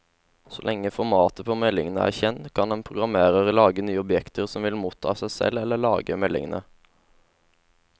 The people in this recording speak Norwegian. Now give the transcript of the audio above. Så lenge formatet på meldingen er kjent, kan en programmerer lage nye objekter som vil motta eller selv lage meldingene.